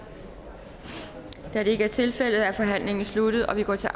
da det ikke er tilfældet er forhandlingen sluttet og vi går til